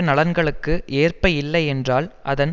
நலன்களுக்கு ஏற்ப இல்லை என்றால் அதன்